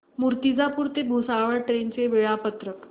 मूर्तिजापूर ते भुसावळ ट्रेन चे वेळापत्रक